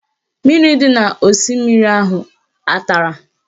Mmiri dị n'osimiri ahụ a tara?